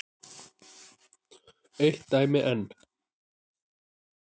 Eitt dæmi enn.